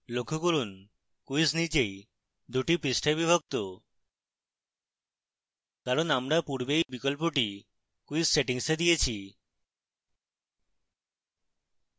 লক্ষ্য করুন quiz নিজেই 2 the পৃষ্ঠায় বিভক্ত কারণ আমরা পূর্বে এই বিকল্পটি quiz settings we দিয়েছি